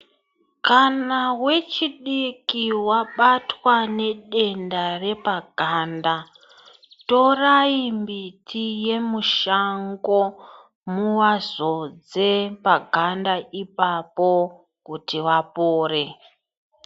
Kana vechidiki vabatwa nedenda repaganda, torai mbiti yemushango muvazodze paganda ipapo kuti vapore.